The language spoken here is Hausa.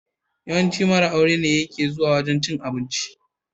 Yawancin mara aure ne yake zuwa wajan cin abinci.